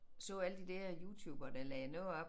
Så alle de der YouTubere der lagde noget op